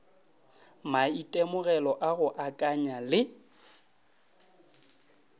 maitemogelo a go akanya le